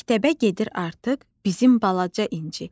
Məktəbə gedir artıq bizim balaca İnci.